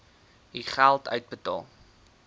u geld uitbetaal